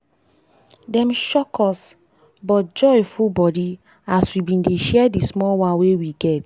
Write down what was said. dem shock us but joy full body as we been dey share di small one wey we get